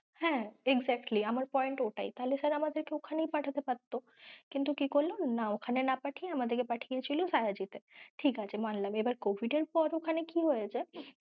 হ্যাঁ exactly আমার point ওটাই, তাহলে sir আমাদের কে ঐখানেই পাঠাতে পারতো কিন্তু কি করল না ঐখানে না পাঠিয়ে আমাদের কে পাঠিয়ে ছিল শায়াজি তে, ঠিকাছে মানলাম এবার covid এর পর ওখানে কি হয়েছে